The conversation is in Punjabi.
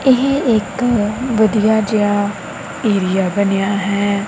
ਇਹ ਇੱਕ ਵਧੀਆ ਜੇਹਾ ਏਰੀਆ ਬਨੇਆ ਹੈ।